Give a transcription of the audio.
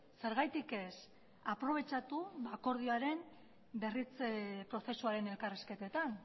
zergatik ez aprobetxatu akordioaren berritze prozesuaren elkarrizketetan